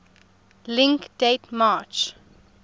link date march